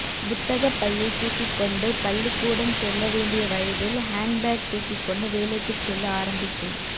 புத்தகப் பையைத் தூக்கிக் கொண்டு பள்ளிக் கூடம் செல்ல வேண்டிய வயதில் ஹேண்ட்பேக் தூக்கிக்கொண்டு வேலைக்குச் செல்ல ஆரம்பித்தேன்